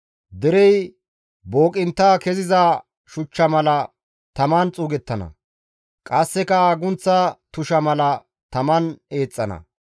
Derey booqintta keziza shuchcha mala taman xuugettana; qasseka agunththa tusha mala taman eexxana.